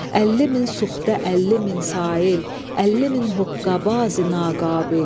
Əlli min suxtə, əlli min sail, əlli min hoqqabazi naqabil.